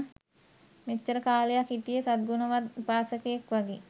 මෙච්චර කාලයක් හිටියේ සත් ගුණවත් උපාසකයෙක් වගේ.